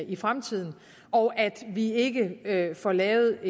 i fremtiden og at vi ikke får lavet